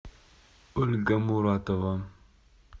ольга муратова